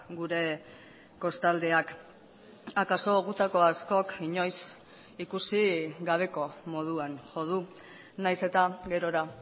gure kostaldeak akaso gutako askok inoiz ikusi gabeko moduan jo du nahiz eta gerora